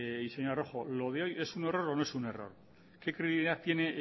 señora rojo lo de hoy es un error o no es un error que credibilidad tiene